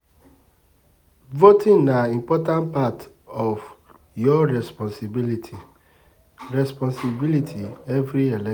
Voting na important part of your responsibility, responsibility every elec